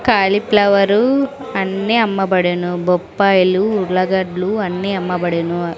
Cauliflower అన్నీ అమ్మబడును బొప్పాయిలు ఉర్లగడ్లు అన్ని అమ్మబడును.